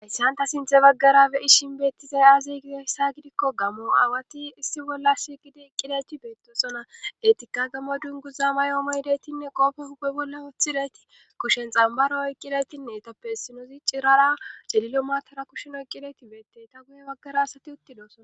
Isssanta sinthe baggara beyi shin beettizay aazi gideyssa gidikko gamo aawati issi bolla si gidi iqqileti beettosona etika gammo dunguza mayoomo hidetinne qoofofupe bolla wooththileti kushen xambaro oyqqiletinne tappe essinoozi cirara celilo maatara kusheno qqileti beettey ta guye baggara asati uttidoosona